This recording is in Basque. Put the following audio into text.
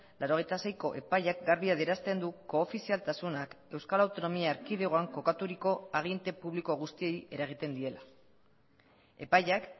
laurogeita seiko epaiak garbi adierazten du koofizialtasunak euskal autonomia erkidegoan kokaturiko aginte publiko guztiei eragiten diela epaiak